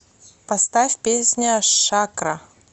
поставь песня шакра